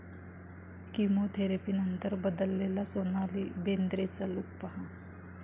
किमोथेरपीनंतर बदललेला सोनाली बेंद्रेचा लूक पहा